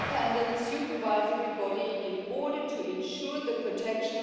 u mogućnosti doista ispuniti svoju misiju i u praksi.